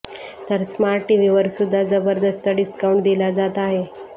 तर स्मार्ट टीव्हीवर सुद्धा जबरदस्त डिस्काउंट दिला जात आहे